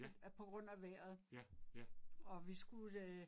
Ja. Ja, ja